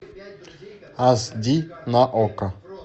ас ди на окко